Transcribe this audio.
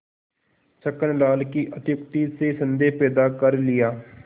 छक्कन लाल की अत्युक्ति से संदेह पैदा कर लिया